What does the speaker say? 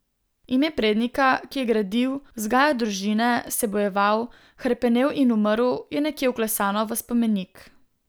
Ime prednika, ki je gradil, vzgajal družine, se bojeval, hrepenel in umrl, je nekje vklesano v spomenik.